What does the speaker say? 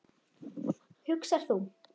hugsar þú.